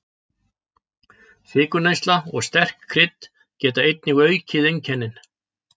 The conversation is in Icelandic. Sykurneysla og sterk krydd geta einnig aukið einkennin.